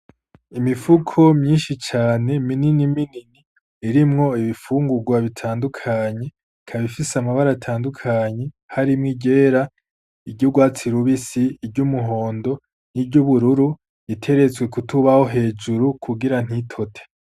Imifuko myinshi cane minini minini irimwo ibifungurwa bitandukanye ikabifise amabara atandukanye harimwo iryera iry’urwatsi rubisi iryo umuhondo n'iry’ubururu iteretswe kutubaho hejuru kugira ntitote.